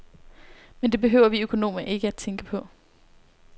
Men det behøver vi økonomer ikke tænke på.